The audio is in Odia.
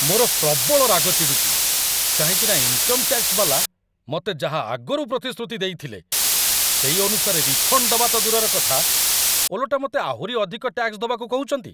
ମୋର ପ୍ରବଳ ରାଗ ଚିଡ଼ୁଚି, କାହିଁକିନା ଇନ୍‌କମ ଟ୍ୟାକ୍ସ ବାଲା ମତେ ଯାହା ଆଗରୁ ପ୍ରତିଶ୍ରୁତି ଦେଇଥିଲେ, ସେଇ ଅନୁସାରେ ରିଫଣ୍ଡ ଦବା ତ ଦୂରର କଥା ଓଲଟା ମତେ ଆହୁରି ଅଧିକ ଟ୍ୟାକ୍ସ ଦବାକୁ କହୁଚନ୍ତି ।